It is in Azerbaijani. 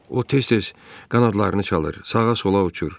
O tez-tez qanadlarını çalır, sağa-sola uçur.